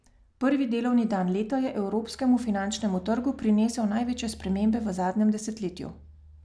Prvi delovni dan leta je evropskemu finančnemu trgu prinesel največje spremembe v zadnjem desetletju.